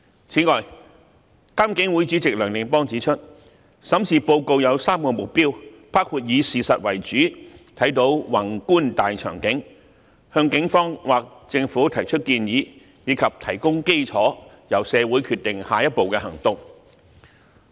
此外，監警會主席梁定邦指出，審視報告有3個目標，包括以事實為主，審視宏觀的大場景；向警方或政府提供建議；以及提供基礎，由社會決定下一步行動。